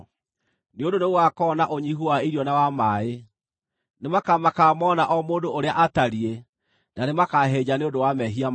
nĩ ũndũ nĩgũgakorwo na ũnyiihu wa irio na wa maaĩ. Nĩmakamakaga moona o mũndũ ũrĩa atariĩ na nĩmakahĩnja nĩ ũndũ wa mehia mao.